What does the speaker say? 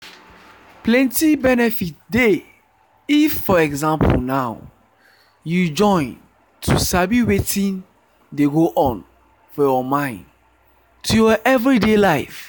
plenty benefit dey if for example now you join to sabi wetin dey go on for your mind to your everyday life.